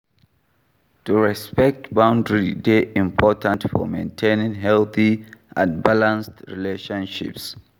to respect boundary dey important for maintaining healthy and balanced relationships.